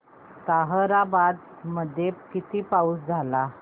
ताहराबाद मध्ये किती पाऊस झाला